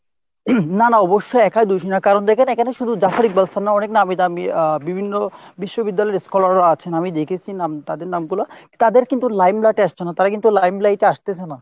না না অবশ্যই একই দোষী না। কারণ এখানে দ্যাখেন শুধু Jafri Balsar না অনেক নামিদামী আহ বিভিন্ন বিশ্ববিদ্যালয় এর scholar রা আছেন। আমি দেখেছি নাম, তাদের নামগুলো। তাদের কিন্তু limelight এ আসছেনা, তারা কিন্তু limelight এ আসতেছে না।